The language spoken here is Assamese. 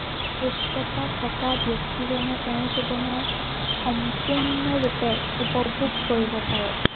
সুস্থতা থকা ব্য়ক্তিজনে তেওঁৰ জীৱনৰ সম্পুৰ্ণ ৰূপে উপভোগ কৰিব পাৰে।